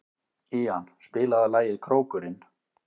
Ían, spilaðu lagið „Krókurinn“.